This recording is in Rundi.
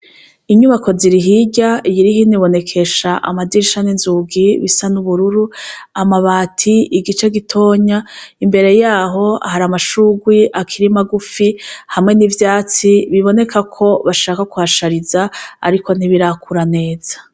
Inyubako ziri hirya iyiri hino ibonekesha amadirisha n'inzugi bisa n'ubururu, amabati igice gitonya imbere yaho hari amashurwe akiri magufi hamwe n'ivyatsi biboneka ko bashaka kuhashariza ariko ntibirakura neza.